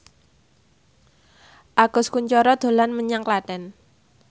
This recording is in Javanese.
Agus Kuncoro dolan menyang Klaten